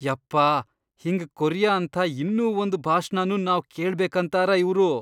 ಯಪ್ಪಾ ಹಿಂಗ್ ಕೊರಿಯ ಅಂಥ ಇನ್ನೂ ಒಂದ್ ಭಾಷ್ಣನೂ ನಾವ್ ಕೇಳ್ಬೆಕಂತಾರ ಇವ್ರು.